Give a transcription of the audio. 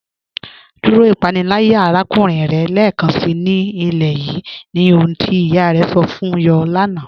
Dúró ìpànílàyà àràkùnrìn rẹ̀ lẹ́ẹkánsí ní ilẹ̀ yìí, ní ohun tí iyá rẹ̀ sọ̀ fún yọ̀ láńà.